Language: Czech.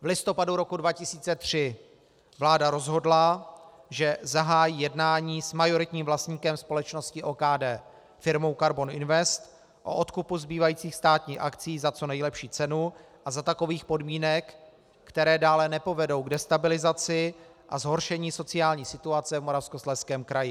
V listopadu roku 2003 vláda rozhodla, že zahájí jednání s majoritním vlastníkem společnosti OKD, firmou Karbon Invest, o odkupu zbývajících státních akcií za co nejlepší cenu a za takových podmínek, které dále nepovedou k destabilizaci a zhoršení sociální situace v Moravskoslezském kraji.